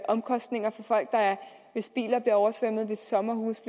omkostninger for folk hvis biler bliver oversvømmet hvis sommerhuse